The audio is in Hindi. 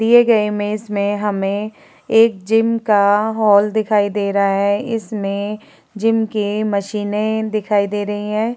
दिए गये इमेज में हमें एक जिम का हॉल दिखाई दे रहा है। इसमें जिम की मशीनें दिखाई दे रही हैं।